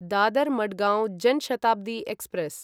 Dadar Madgaon Jan Shatabdi express